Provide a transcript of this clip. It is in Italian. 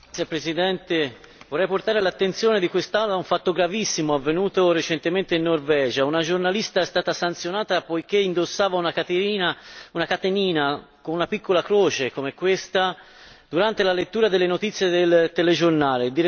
Signor Presidente, vorrei portare all'attenzione di quest'Aula un fatto gravissimo avvenuto recentemente in Norvegia una giornalista è stata sanzionata poiché indossava una catenina con una piccola croce, come questa, durante la lettura delle notizie del telegiornale.